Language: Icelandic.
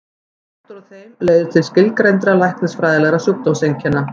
Skortur á þeim leiðir til skilgreindra læknisfræðilegra sjúkdómseinkenna.